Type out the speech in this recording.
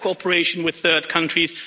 better cooperation with third countries